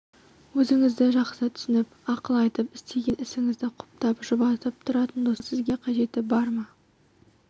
өзіңізді жақсы түсініп ақыл айтып істеген ісіңізді құптап жұбатып тұратын достардың сізге қажеті бар ма